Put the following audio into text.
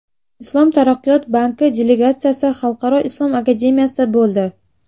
Islom taraqqiyot banki delegatsiyasi Xalqaro islom akademiyasida bo‘ldi.